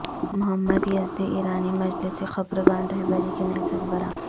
محمد Yazdi ایرانی مجلس خبرگان رہبری کے نئے سربراہ